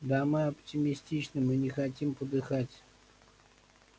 да мы оптимистичны мы не хотим подыхать